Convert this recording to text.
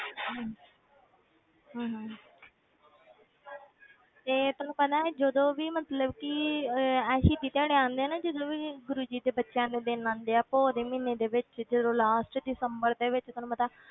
ਹਮ ਹਮ ਹਮ ਤੇ ਤੁਹਾਨੂੰ ਪਤਾ ਹੈ ਜਦੋਂ ਵੀ ਮਤਲਬ ਕਿ ਇਹ ਇਹ ਸ਼ਹੀਦੀ ਦਿਹਾੜੇ ਆਉਂਦੇ ਆ ਨਾ ਜਦੋਂ ਵੀ ਗੁਰੂ ਜੀ ਦੇ ਬੱਚਿਆਂ ਦੇ ਦਿਨ ਆਉਂਦੇ ਆ ਪੋਹ ਦੇ ਮਹੀਨੇ ਦੇ ਵਿੱਚ ਜਦੋਂ last ਦਿਸੰਬਰ ਦੇ ਵਿੱਚ ਤੁਹਾਨੂੰ ਪਤਾ ਹੈ,